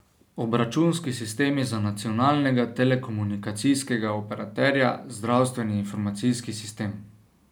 Obračunski sistemi za nacionalnega telekomunikacijskega operaterja, zdravstveni informacijski sistem...